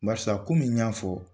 Barisa komi n y'a fɔ